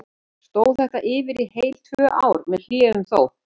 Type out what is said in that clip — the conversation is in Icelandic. Stóð þetta yfir í heil tvö ár, með hléum þó.